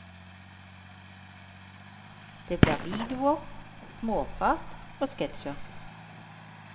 Det blir videoer, småprat og sketsjer.